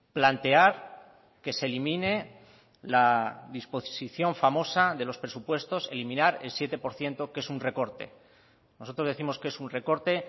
plantear que se elimine la disposición famosa de los presupuestos eliminar el siete por ciento que es un recorte nosotros décimos que es un recorte